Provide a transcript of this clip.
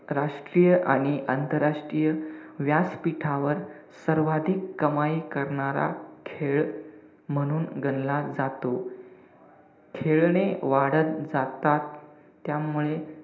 राष्ट्रीय आणि आंतरराष्ट्रीय व्यासपीठावर सर्वाधिक कमाई करणारा खेळ म्हणून गणला जातो. खेळणे वाढत जातात. त्यामुळे,